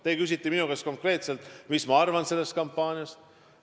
Te küsite minu käest konkreetselt, mis ma arvan sellest kampaaniast.